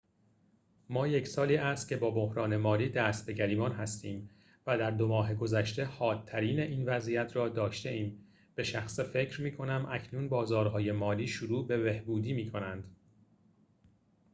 ما یک سالی است که با بحران مالی دست به گریبان هستیم و در دو ماه گذشته حادترین این وضعیت را داشته‌ایم به شخصه فکر می‌کنم اکنون بازارهای مالی شروع به بهبودی می‌کنند